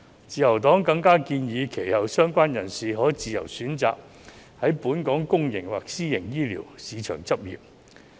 自由黨更建議，相關人士其後可自由選擇在本港公營或私營醫療市場執業。